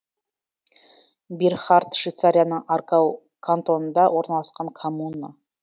бирхард швейцарияның аргау кантонында орналасқан коммуна